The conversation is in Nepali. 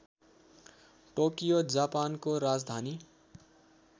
टोकियो जापानको राजधानी